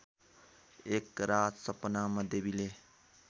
एकरात सपनामा देवीले